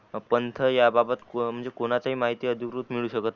पंथ या बाबत म्हणजे कोणाचा माहिती अधिकृत मिलू शकत